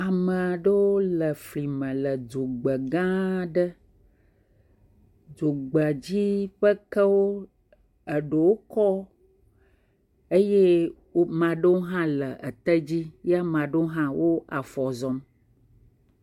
Ame aɖewo le fli me le dzogbe gã aɖe. Dzogbedzi ƒe kewo eɖewo kɔ eye wo maɖewo hã le ete dzi ye maɖewo hã wo afɔ zɔm.